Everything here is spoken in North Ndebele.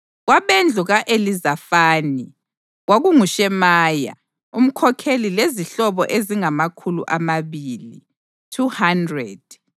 kwabendlu ka-Elizafani, kwakunguShemaya umkhokheli lezihlobo ezingamakhulu amabili (200);